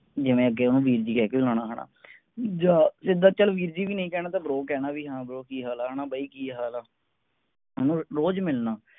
ਜਿਵੇਂ ਅੱਗੇ ਓਹਨੂੰ ਵੀਰ ਜੀ ਕਹਿ ਕੇ ਬੁਲਾਉਣਾ ਹੈਨਾ ਜਾਂ ਜਿੱਦਾਂ ਚਲ ਵੀਰ ਜੀ ਵੀ ਨੀ ਕਹਿਣਾ ਤਾਂ bro ਕਹਿਣਾ ਵੀ ਹਾਂ bro ਕੀ ਹਾਲ ਆ ਹੈਨਾ ਬਾਈ ਕੀ ਹਾਲ ਆ ਮਤਲਬ ਰੋਜ ਮਿਲਣਾ